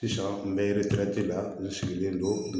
Sisan n bɛ la n sigilen don